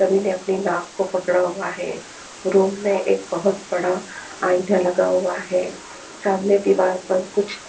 सभी ने अपनी नाक को पकड़ा हुआ है रूम में एक बहुत बड़ा आईना लगा हुआ है सामने दीवार पर कुछ --